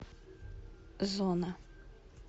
зона